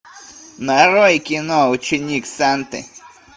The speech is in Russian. нарой кино ученик санты